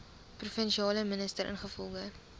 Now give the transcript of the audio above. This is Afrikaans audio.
provinsiale minister ingevolge